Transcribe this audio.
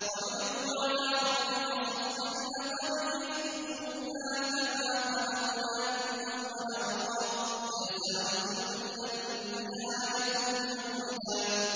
وَعُرِضُوا عَلَىٰ رَبِّكَ صَفًّا لَّقَدْ جِئْتُمُونَا كَمَا خَلَقْنَاكُمْ أَوَّلَ مَرَّةٍ ۚ بَلْ زَعَمْتُمْ أَلَّن نَّجْعَلَ لَكُم مَّوْعِدًا